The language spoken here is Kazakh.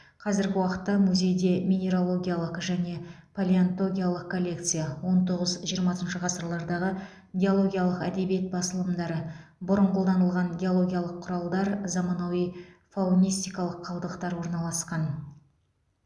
қазіргі уақытта музейде минералогиялық және палеонтогиялық коллекция он тоғыз жиырмасыншы ғасырлардағы геологиялық әдебиет басылымдары бұрын қолданылған геологиялық құралдар заманауи фаунистикалық қалдықтар орналасқан